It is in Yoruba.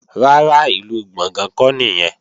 Rárá, ìlú Gbọ̀ngán kọ́ nìyẹn